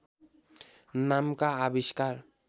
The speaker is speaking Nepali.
नामका आविष्कार